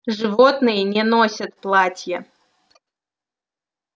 животные не носят платья